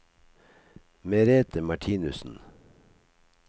Merete Martinussen